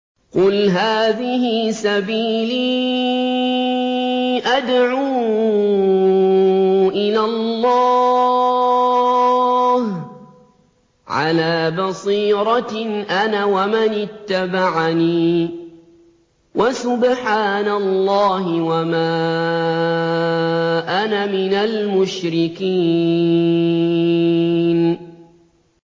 قُلْ هَٰذِهِ سَبِيلِي أَدْعُو إِلَى اللَّهِ ۚ عَلَىٰ بَصِيرَةٍ أَنَا وَمَنِ اتَّبَعَنِي ۖ وَسُبْحَانَ اللَّهِ وَمَا أَنَا مِنَ الْمُشْرِكِينَ